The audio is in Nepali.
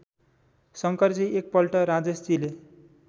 शंकरजी एकपल्ट राजेशजीले